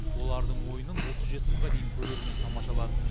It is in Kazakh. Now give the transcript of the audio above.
олардың ойынын отыз жеті мыңға дейін көрермен тамашалады